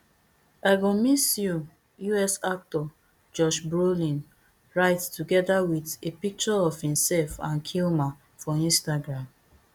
i go miss you us actor josh brolin write togeda wit a picture of imself and kilmer for instagram